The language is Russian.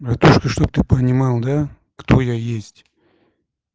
наташка чтоб ты понимал да кто я есть